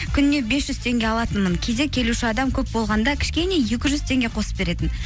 күніне бес жүз теңге алатынмын кейде келуші адам көп болғанда кішкене екі жүз теңге қосып беретін